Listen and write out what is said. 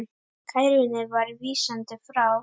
Kærunni var vísað frá.